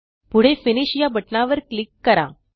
पुढे फिनिश या बटणावर क्लिक करा